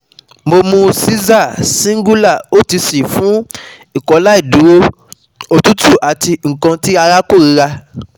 Mo mu Xyzal, Singulair, OTC fun Ikọaláìdúró, otutu ati nkan ti ara korira